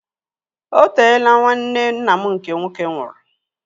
Oteela nwanne nna m nke nwoke nwụrụ